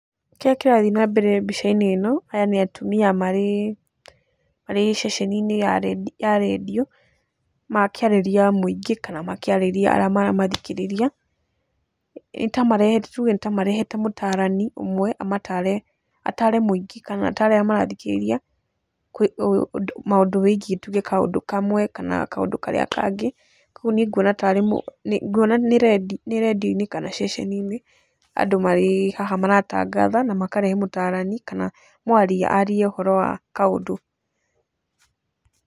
Kĩrĩa kĩrathi nambere mbica-inĩ ĩno, aya nĩ atumia marĩ marĩ ceceni-inĩ ya rediũ makĩarĩria mũingĩ kana makĩarĩria arĩa maramathikĩrĩria. Nĩtamarehete, tuge nĩ tamarehete mũtaarani ũmwe amataare, ataare mũingĩ kana ataare arĩa marathikĩrĩria maũndũ wĩgiĩ tuge kaũndũ kamwe na kaũndũ karĩa kangĩ. Koguo niĩ nguona taarĩ, nguona nĩ rediũ-inĩ kana ceceni-inĩ andũ marĩ haha maratangatha na makarehe mũtarani kana mũaria arie ũhoro wa kaũndũ.